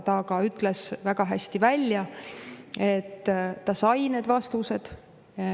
Ta ka ütles väga selgelt välja, et ta sai need vastused.